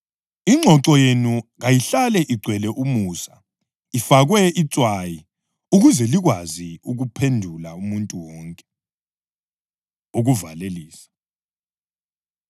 Ingxoxo yenu kayihlale igcwele umusa, ifakwe itswayi ukuze likwazi ukuphendula umuntu wonke. Ukuvalelisa